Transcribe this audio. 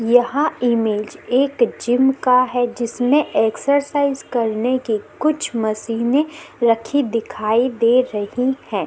यहाँ इमेज एक जिम का है एक एक्सर साइज करने की कुछ मशीने रखी दिखाई दे रही है।